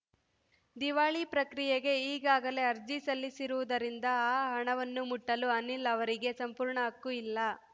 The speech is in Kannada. ದಿವಾಳಿ ಪ್ರಕ್ರಿಯೆಗೆ ಈಗಾಗಲೇ ಅರ್ಜಿ ಸಲ್ಲಿಸಿರುವುದರಿಂದ ಆ ಹಣವನ್ನು ಮುಟ್ಟಲು ಅನಿಲ್‌ ಅವರಿಗೆ ಸಂಪೂರ್ಣ ಹಕ್ಕು ಇಲ್ಲ